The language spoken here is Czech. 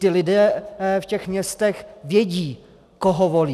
Vždyť lidé v těch městech vědí, koho volí.